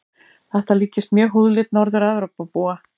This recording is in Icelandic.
Þetta líkist mjög húðlit Norður-Evrópubúa.